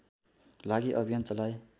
लागि अभियान चलाए